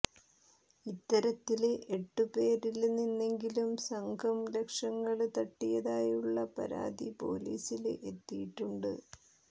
ഇത്തരത്തില് എട്ടുപേരില് നിന്നെങ്കിലും സംഘം ലക്ഷങ്ങള് തട്ടിയതായുള്ള പരാതി പൊലീസില് എത്തിയിട്ടുണ്ട്